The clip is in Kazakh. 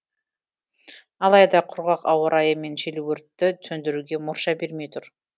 алайда құрғақ ауа райы мен жел өртті сөндіруге мұрша бермей тұр